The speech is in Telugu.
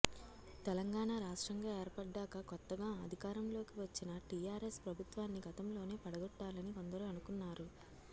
తెలంగాణ రాష్ట్రంగా ఏర్పడ్డాక కొత్తగా అధికారంలోకి వచ్చిన టీఆర్ఎస్ ప్రభుత్వాన్ని గతంలోనే పడగొట్టాలని కొందరు అనుకున్నారు